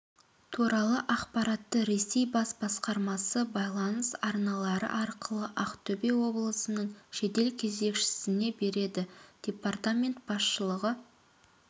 туралы ақпаратты ресей бас басқармасы байланыс арналары арқылы ақтөбе облысының жедел кезекшісіне береді департамент басшылығы